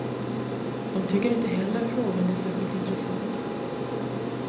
De tycker inte heller frågan är särskilt intressant.